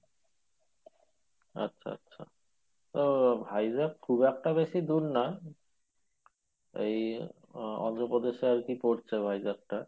আচ্ছা আচ্ছা তো Vizag খুব একটা বেশি দূর না এই আ~ অন্ধ্রপ্রদেশ এ আরকি পড়ছে Vizag টা